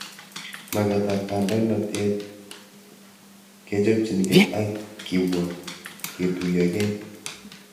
Mag'et ab kandoinatet, kechopchikei ak kipwa ketuyokei